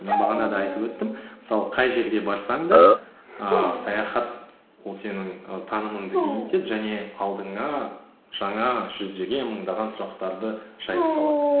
мен бағана да айтып өттім мысалы қай жерге барсаң да ііі саяхат ол сенің і танымыңды кеңейтеді және алдыңа жаңа жүздеген мыңдаған сұрақтарды жайып салады